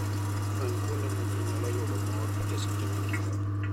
Many kuonde ma ji nyalo yude mor e seche mag mor.